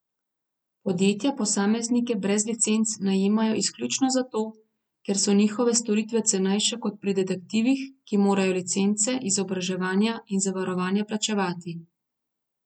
Podjetja posameznike brez licenc najemajo izključno zato, ker so njihove storitve cenejše kot pri detektivih, ki morajo licence, izobraževanja in zavarovanja plačevati.